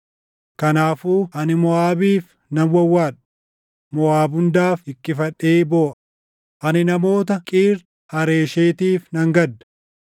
Kanaafuu ani Moʼaabiif nan wawwaadha; Moʼaab hundaaf hiqqifadhee booʼa; ani namoota Qiir Hareeshetiif nan gadda.